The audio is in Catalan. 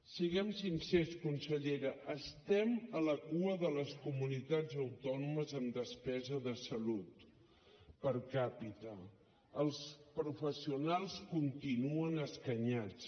siguem sincers consellera estem a la cua de les comunitats autònomes en despesa de salut per capitanuen escanyats